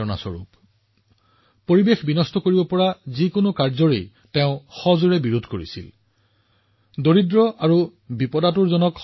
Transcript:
তেওঁ বৈদেশিক শাসনৰ প্ৰতিটো নীতিৰ তীব্ৰ বিৰোধিতা কৰিছিল যিয়ে পৰিৱেশৰ ক্ষতি কৰিব পাৰে